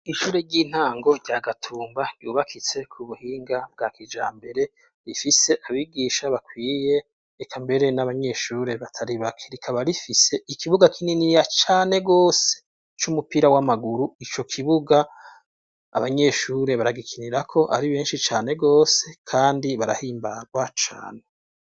Incure ry'intango rya gatumba ryubakitse ku buhinga bwa kija mbere rifise abigisha bakwiye eka mbere n'abanyeshuri bataribaki rikaba rifise ikibuga kininiya cane rwose c'umupira w'amaguru ico kibuga abanyeshuri baragikinirako ari benshi cane rwose, kandi barae imbarwa cane.